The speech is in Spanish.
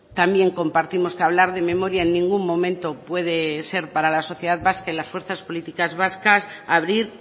también compartimos que hablar de memoria en ningún momento puede ser para la sociedad vasca y las fuerzas políticas vascas abrir